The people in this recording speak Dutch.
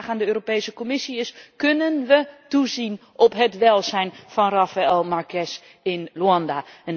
Mijn vraag aan de Europese Commissie is kunnen we toezien op het welzijn van Rafael Marques in Luanda?